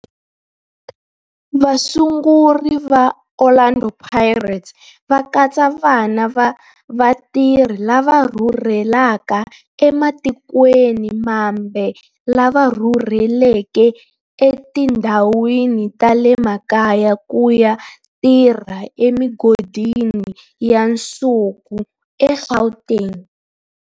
Vasunguri va Orlando Pirates va katsa vana va vatirhi lava rhurhelaka ematikweni mambe lava rhurheleke etindhawini ta le makaya ku ya tirha emigodini ya nsuku eGauteng.